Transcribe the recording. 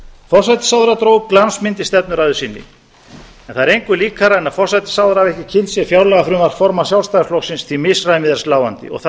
forsætisráðherra dró upp glansmynd í stefnuræðu sinni en það er engu líkara en að forsætisráðherra hafi ekki kynnt sér fjárlagafrumvarp formanns sjálfstæðisflokksins því misræmið er sláandi og